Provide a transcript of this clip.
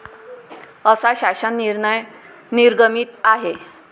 असा शासन निर्णय निर्गमित आहे.